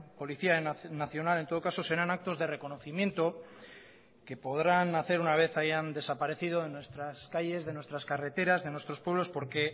policía nacional en todo caso serán actos de reconocimiento que podrán hacer una vez hayan desaparecido de nuestras calles de nuestras carreteras de nuestros pueblos porque